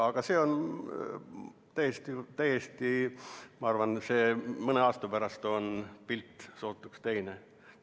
Aga ma arvan, et mõne aasta pärast on pilt sootuks teine.